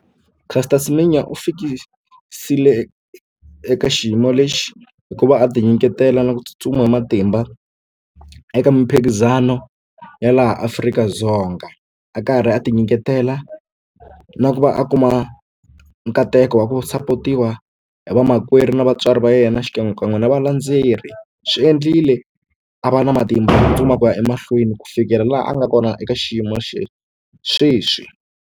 Caster Semenya u fikisile eka xiyimo lexi hikuva a ti nyiketela na ku tsutsuma hi matimba eka miphikizano ya laha Afrika-Dzonga a karhi a ti nyiketela na ku va a kuma nkateko wa ku support-iwa hi vamakwerhu na vatswari va yena xikan'we ka n'wina valandzeri swi endlile a va na matimba ya ku tsutsuma a ku ya emahlweni ku fikela laha a nga kona eka xiyimo sweswi.